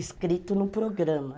Escrito no programa.